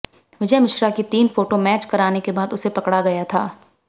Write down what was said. विजय मिश्रा की तीन photo match कराने के बाद उसे पकड़ा गया था